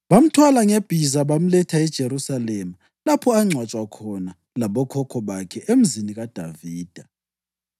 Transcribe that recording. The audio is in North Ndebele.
Bamthwala ngebhiza bamletha eJerusalema lapha angcwatshwa khona labokhokho bakhe, eMzini kaDavida.